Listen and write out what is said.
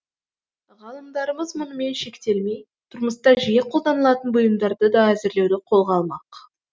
ғалымдарымыз мұнымен шектелмей тұрмыста жиі қолданылатын бұйымдарды да әзірлеуді қолға алмақ